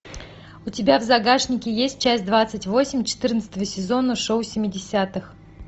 у тебя в загашнике есть часть двадцать восемь четырнадцатого сезона шоу семидесятых